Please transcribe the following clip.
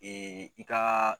i ka